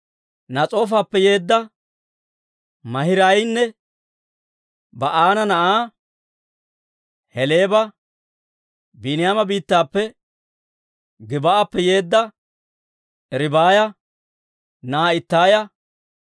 Nas'oofappe yeedda Maahiraayanne Ba'aana na'aa Heleeba, Biiniyaama biittappe, Gib"appe yeedda Ribaaya na'aa Ittaaya,